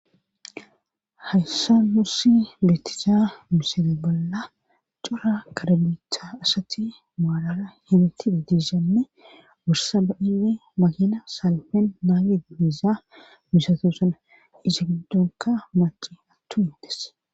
Hayssa mursi bettisa miseda bolla cura karalitha asatti maalara himiti didishanne wursa ba7ine makina salpen naage diizaa misatosana isi giddunka maaci attu hindes